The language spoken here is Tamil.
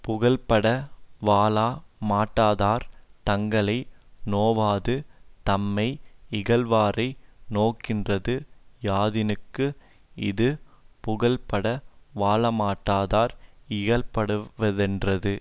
புகழ்பட வாழ மாட்டாதார் தங்களை நோவாது தம்மை யிகழ்வாரை நோகின்றது யாதினுக்கு இது புகழ்பட வாழமாட்டாதார் இகழ படுவ ரென்றது